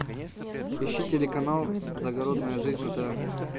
ищи телеканал загородная жизнь на тв